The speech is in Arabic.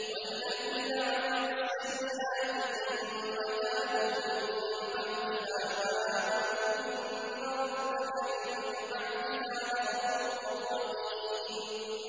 وَالَّذِينَ عَمِلُوا السَّيِّئَاتِ ثُمَّ تَابُوا مِن بَعْدِهَا وَآمَنُوا إِنَّ رَبَّكَ مِن بَعْدِهَا لَغَفُورٌ رَّحِيمٌ